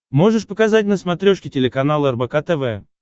можешь показать на смотрешке телеканал рбк тв